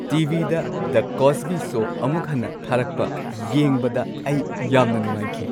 T. V. ꯗ "the Cosby show" ꯑꯃꯨꯛ ꯍꯟꯅ ꯊꯥꯔꯛꯄ ꯌꯦꯡꯕꯗ ꯑꯩ ꯌꯥꯝꯅ ꯅꯨꯡꯉꯥꯏꯈꯤ ꯫